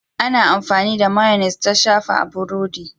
Ana amfani da Mayonnaise ta shafa a burodi.